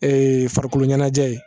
Ee farikoloɲɛnajɛ ye